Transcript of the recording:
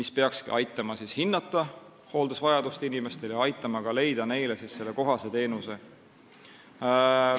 See peakski aitama hinnata inimeste hooldusvajadust ja leida neile kohaseid teenuseid.